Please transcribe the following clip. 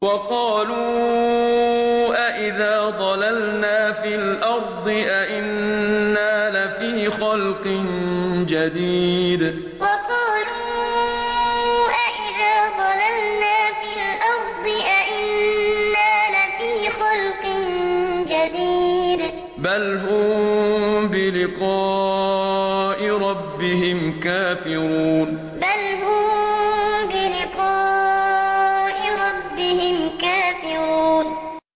وَقَالُوا أَإِذَا ضَلَلْنَا فِي الْأَرْضِ أَإِنَّا لَفِي خَلْقٍ جَدِيدٍ ۚ بَلْ هُم بِلِقَاءِ رَبِّهِمْ كَافِرُونَ وَقَالُوا أَإِذَا ضَلَلْنَا فِي الْأَرْضِ أَإِنَّا لَفِي خَلْقٍ جَدِيدٍ ۚ بَلْ هُم بِلِقَاءِ رَبِّهِمْ كَافِرُونَ